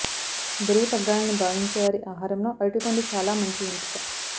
బరువు తగ్గాలని భావించే వారి ఆహారంలో అరటిపండు చాలా మంచి ఎంపిక